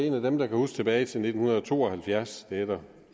en af dem der kan huske tilbage til nitten to og halvfjerds det er der